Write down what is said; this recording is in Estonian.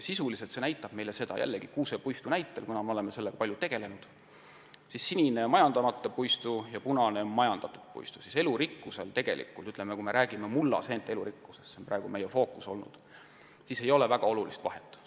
Sisuliselt näitab see joonis meile seda – jällegi kuusepuistu näitel, kuna oleme kuusikutega palju tegelenud, kusjuures sinine joon tähistab majandamata puistut ja punane majandatud puistut –, et elurikkuses – me räägime mullaseentest, see on praegu meie fookus olnud – ei ole tegelikult väga olulist vahet.